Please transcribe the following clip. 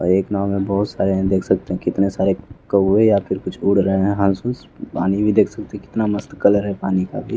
अ एक नाव में बहोत सारे हैं देख सकते हें कितने सारे कौवे या फिर कुछ उड़ रहे हैं हंस-उंश पानी भी देख सकते कितना मस्त कलर है पानी का भी।